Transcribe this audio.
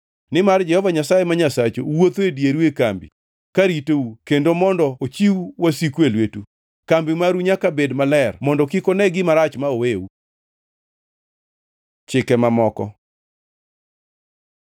Nimar Jehova Nyasaye ma Nyasachu wuotho e dieru e kambi ka ritou kendo mondo ochiw wasiku e lwetu. Kambi maru nyaka bed maler mondo kik one gima rach ma oweu. Chike mamoko